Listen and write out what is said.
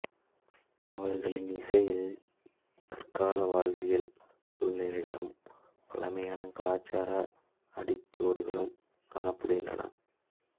அவர்களின் இசையில் தற்கால வாழ்வியல் சூழ்நிலைகளும் பழமையான கலச்சார அடிச்சுவடுகளும் காணப்படுகின்றன